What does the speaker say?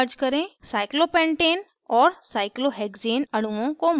cyclopentane cyclopentane और cyclohexane cyclohexane अणुओं को मर्ज करें